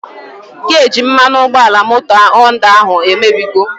Geji mmanụ ụgbọala moto Họnda ahụ emebigo